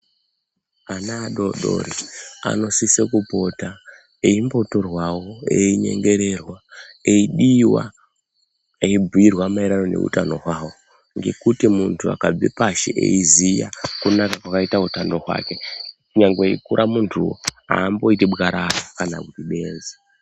Ana adodori anosisirwa kupota eimbotorwawo, einyengererwa eidiwa eibhuyirwa maererano neutano hwavo, ngekuti muntu akabve pashi eiziya kunaka kwakaite utano hwake nyangwe eikura muntuwo aamboiti bwarara kana kuti benzi.